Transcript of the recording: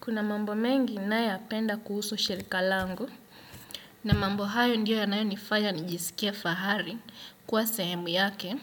Kuna mambo mengi ninayo ya penda kuhusu shirika langu na mambo hayo ndio yanayo nifanya nijisikie fahari kuwa sehemu yake.